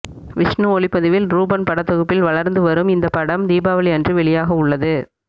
விஷ்ணு ஒளிப்பதிவில் ரூபன் படத்தொகுப்பில் வளர்ந்து வரும் இந்த படம் வரும் தீபாவளி அன்று வெளியாகவுள்ளது